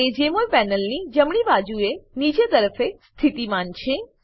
તે જમોલ પેનલની જમણી બાજુએ નીચેની તરફે સ્તિથીમાન છે